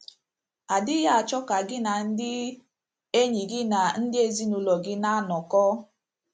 ❑ adịghị achọ ka gị na ndị enyi gị na ndị ezinụlọ gị na - anọkọ.